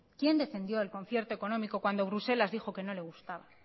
quién defendió el concierto económico cuando bruselas dijo que no le gustaba